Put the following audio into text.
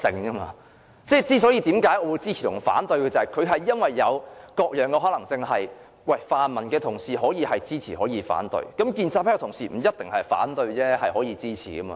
我為何會支持或反對，是因為有各種可能性，泛民的同事也可以支持或反對，建制派的同事亦不一定要反對，也可以支持的。